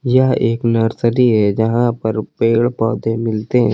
यह एक नर्सरी है जहां पर पेड़ पौधे मिलते हैं।